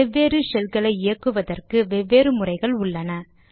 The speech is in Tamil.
வெவ்வேறு ஷெல்களை இயக்குவதற்கு வெவ்வேறு முறைகள் உள்ளன